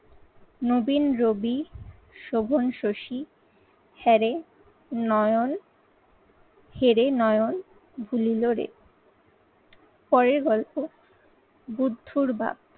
নবীন রবি, শোভন শশী হ্যাঁ রে নয়ন, হেরে নয়ন ভুলিলোড়ে। পরের গল্প বুদ্ধর বাপ।